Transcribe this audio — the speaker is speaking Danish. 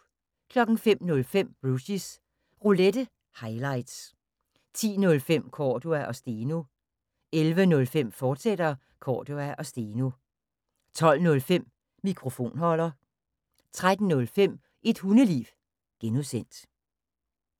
05:05: Rushys Roulette – highlights 10:05: Cordua & Steno 11:05: Cordua & Steno, fortsat 12:05: Mikrofonholder 13:05: Et hundeliv (G)